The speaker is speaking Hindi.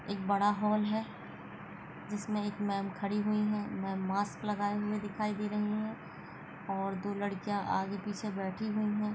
एक बड़ा हॉल है जिसमें एक मैम खड़ी हुई है मैम मास्क लगाए हुए दिखाई दे रहीं हैं और दो लड़कियां आगे पीछे बैठी हुई हैं।